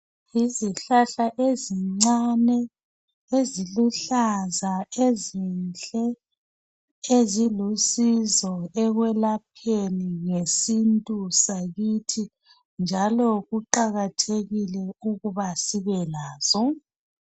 Izihlahla ezincane eziluhlaza ezinhle ezilusizo ekwelapheni ngesintu sakithi njalo kuqakathekile ukuba sibe lazo.